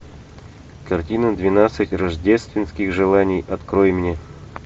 картина двенадцать рождественских желаний открой мне